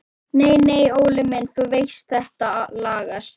Nei nei Óli minn, þú veist þetta lagast.